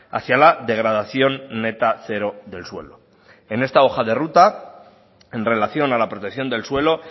hacia la degradación neta cero del suelo en esta hoja de ruta en relación a la protección del suelo